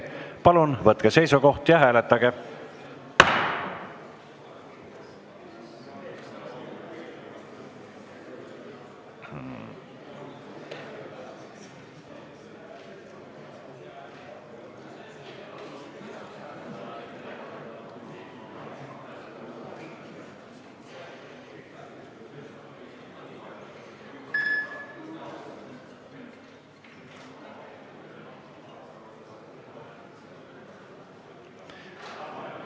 Palun võtke seisukoht ja hääletage!